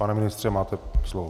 Pane ministře, máte slovo.